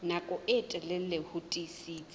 nako e telele ho tiisitse